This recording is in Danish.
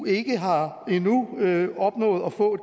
ikke har opnået at få